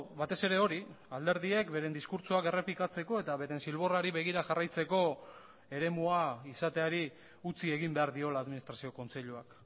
batez ere hori alderdiek beren diskurtsoak errepikatzeko eta beren zilborrari begira jarraitzeko eremua izateari utzi egin behar diola administrazio kontseiluak